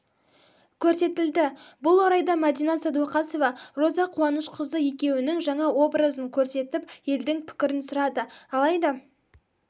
көрсетілді бұл орайда мәдина сәдуақасова роза қуанышқызы екеуінің жаңа образын көрсетіп елдің пікірін сұрады алайда